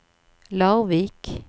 Larvik